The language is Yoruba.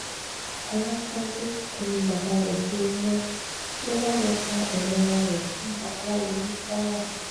ọ̀làkánjú kún bàbá rẹ̀ bíi ewúrẹ́ ló bá lọ́ọ́ ta ẹ̀yà ara rẹ̀ fún babaláwo ní kwara